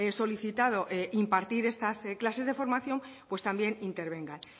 solicitado impartir estas clases de formación pues también intervengan